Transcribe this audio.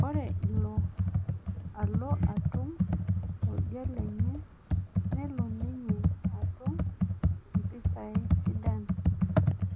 Ore ilo olo atum oldia lenye nelo ninye atum impisai sidan